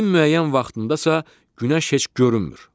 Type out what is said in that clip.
İlin müəyyən vaxtında isə günəş heç görünmür.